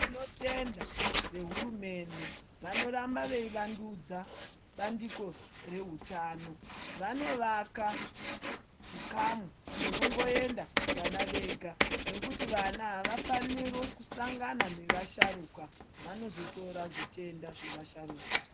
Tinoyenda vehurumende vanoramba veivandudza bandiko reutano vanovaka zvikamu zvinongoenda vana Vega nokuti vana havafaniri kusangana nevasharuka vanozotora zvitenda zvevasharuka.